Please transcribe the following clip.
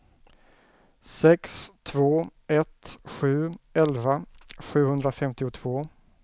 sex två ett sju elva sjuhundrafemtiotvå